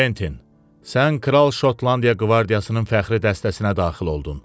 Kventin, sən kral Şotlandiya qvardiyasının fəxri dəstəsinə daxil oldun.